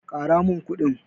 Ƙara min kuɗi.